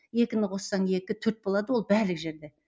екіні қоссаң екі төрт болады ол барлық жерде